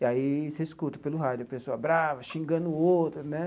E aí você escuta pelo rádio a pessoa brava, xingando o outro, né?